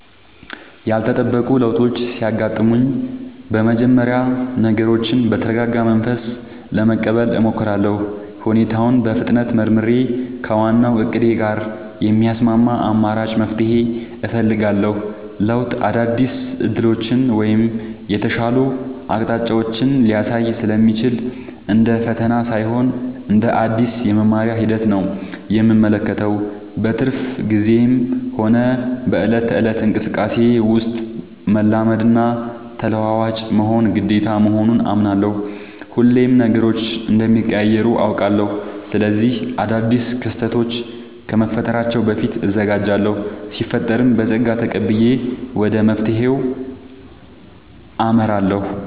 ያልተጠበቁ ለውጦች ሲያጋጥሙኝ በመጀመሪያ ነገሮችን በተረጋጋ መንፈስ ለመቀበል እሞክራለሁ። ሁኔታውን በፍጥነት መርምሬ፣ ከዋናው እቅዴ ጋር የሚስማማ አማራጭ መፍትሄ እፈልጋለሁ። ለውጥ አዳዲስ ዕድሎችን ወይም የተሻሉ አቅጣጫዎችን ሊያሳይ ስለሚችል፣ እንደ ፈተና ሳይሆን እንደ አዲስ የመማሪያ ሂደት ነው የምመለከተው። በትርፍ ጊዜዬም ሆነ በዕለት ተዕለት እንቅስቃሴዬ ውስጥ፣ መላመድና ተለዋዋጭ መሆን ግዴታ መሆኑን አምናለሁ። ሁሌም ነገሮች እንደሚቀያየሩ አውቃለሁ። ስለዚህ አዳዲስ ክስተቶች ከመፈጠራቸው በፊት እዘጋጃለሁ ሲፈጠርም በፀጋ ተቀብዬ ወደ መፍትሄው አመራለሁ።